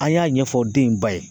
A' y'a ɲɛfɔ den in ba ye